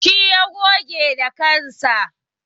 Shi ya goge da kanshi.